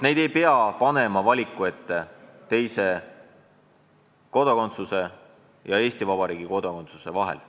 Neid ei tohi panna valima teise riigi kodakondsuse ja Eesti kodakondsuse vahel.